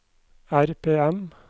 RPM